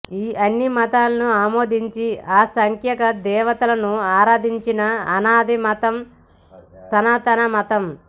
ఈ అన్ని మతాలను ఆమోదించి అసంఖ్యాక దేవతలను ఆరాధించిన అనాది మతం సనాతన మతం